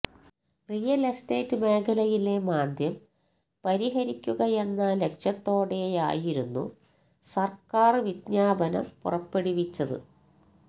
real estate മേഖലയിലെ മാന്ദ്യം പരിഹരിക്കുകയെന്ന ലക്ഷ്യത്തോടെയായിരുന്നു സർക്കാർ വിജ്ഞാപനം പുറപ്പെടുവിച്ചത്